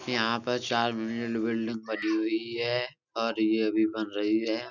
यहाँ पर चार बनी हुई है और ये अभी बन रही है।